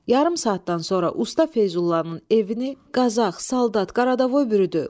Yarım saatdan sonra usta Feyzullanın evini Qazax, saldat, Qaradavoy bürüdü.